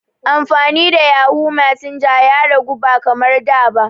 Amfani da yahoo messenger ya ragu ba kamar da ba.